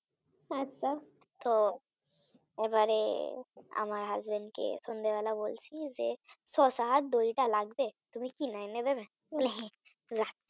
তো এবারে আমার Husband কে সন্ধ্যেবেলা বলছি যে শসা আর দুইটা লাগবে তুমি কিনে এনে দেবে বলে হ্যাঁ